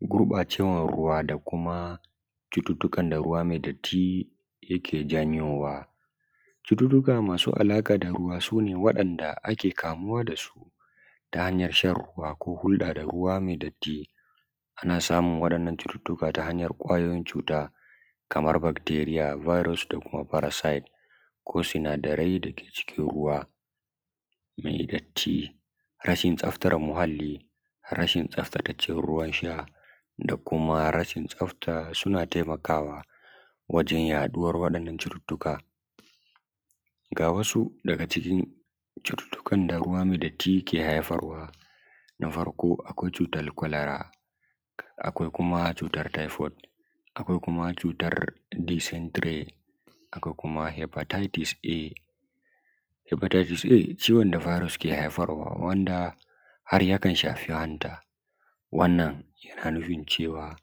gurɓacewan ruwa da kuma cututtukan da ruwa mai datti yake janyowa cututtuka masu alaƙa da ruwa sune waɗanda ake kamuwa da su ta hanyan shan ruwa ko hulɗa da ruwa mai datti ana samun waɗannan cututtukan ta hanyar ƙwayoyin cuta kaman bacteria virus da kuma parasite ko sinadarai da ke cikin ruwa mai datti rashin tsaftan muhalli rashin tsaftace ruwan sha da kuma rashin tsafta suna taimakawa wajen yaɗuwan waɗannan cututtuka ga wasu daga cikin cututtukan da ruwa mai datti ya ke haifarwa na farko akwai cutar cholera akwai kuma cutar typhoid akwai kuma cutar dysentry akwai kuma hepatitis a hepatitis a ciwon da virus ke haifarwa wanda har yakan shafi hanta wannan yana nufin cewa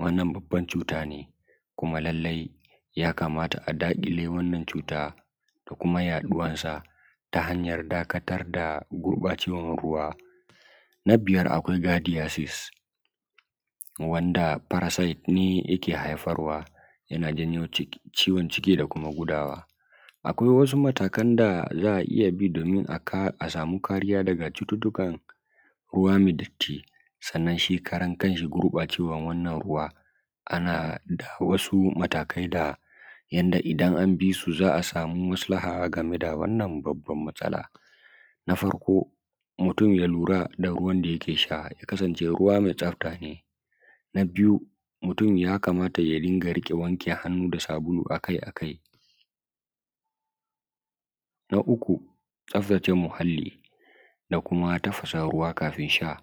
wannan babban cuta ne kuma lallai ya kamata a daƙile wannan cuta da kuma yaɗuwan su ta hanyar dakatar da gurbacewan ruwa na biyar akwai gardiyasis wanda parasite ne yake haifarwa yana janyo ciwon ciki da kuma gudawa akwai wasu matakan da za a iya bi domin a samu cututtukan ruwa mai datti sannan shi karan kan shi gurɓacewan wannan ruwa ana da wasu matakai da yanda idan an bi su za a samu maslaha a game da wannan babban matsala na farko mutum ya lura da ruwan da yake sha ya kasance ruwa mai tsafta ne na biyu mutum ya kamata ya dunga wanke hannu da sabulu akai akai na uku tsaftace muhalli a kuma tafasa ruwa kafin sha